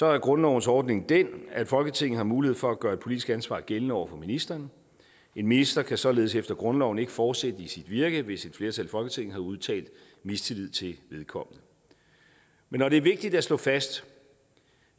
er grundlovens ordning den at folketinget har mulighed for at gøre et politisk ansvar gældende over for ministeren en minister kan således efter grundloven ikke fortsætte i sit virke hvis et flertal i folketinget har udtalt mistillid til vedkommende men når det er vigtigt at slå fast